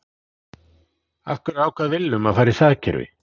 Af hverju ákvað Willum að fara í það kerfi?